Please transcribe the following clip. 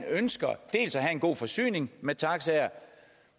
ønsker at have en god forsyning af taxaer